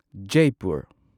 Jaipur